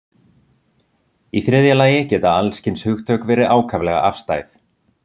Í þriðja lagi geta alls kyns hugtök verið ákaflega afstæð.